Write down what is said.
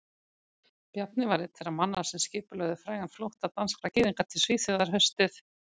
Bjarni var einn þeirra manna sem skipulögðu frægan flótta danskra gyðinga til Svíþjóðar haustið